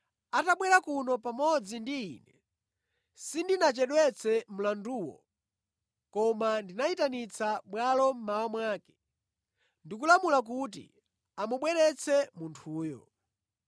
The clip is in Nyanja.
Atabwera kuno pamodzi ndi ine, sindinachedwetse mlanduwo, koma ndinayitanitsa bwalo mmawa mwake ndi kulamula kuti amubweretse munthuyo.